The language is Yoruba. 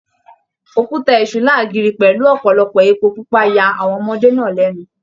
Òkúta Èṣù láàgiri pẹlú ọpọlọpọ èpo pupa yà àwọn ọmọdé náà lẹnu